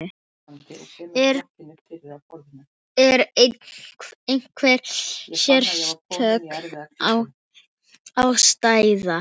Er einhver sérstök ástæða?